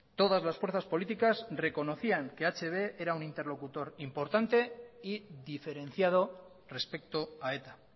todas las fuerzas políticas reconocían que hb era un interlocutor importante y diferenciado respecto a eta